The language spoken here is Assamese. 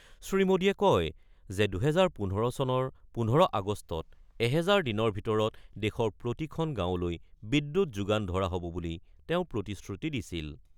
শ্ৰীমোদীয়ে কয় যে ২০১৫ চনৰ ১৫ আগষ্টত এহেজাৰ দিনৰ ভিতৰত দেশৰ প্ৰতিখন গাঁৱলৈ বিদ্যুৎ যোগান ধৰা হ'ব বুলি তেওঁ প্ৰতিশ্ৰুতি দিছিল।